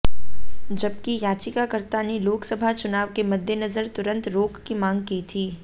जबकि याचिकाकर्ता ने लोकसभा चुनाव के मद्देनजर तुरंत रोक की मांग की थी